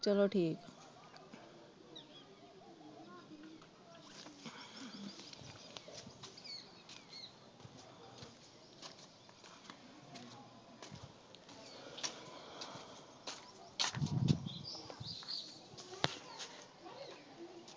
ਚਲੋ ਠੀਕ।